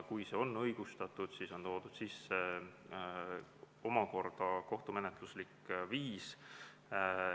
Kui see on õigustatud, siis on siin omakorda toodud sisse kohtumenetluslik viis.